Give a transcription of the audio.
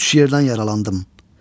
Üç yerdən yaralandım.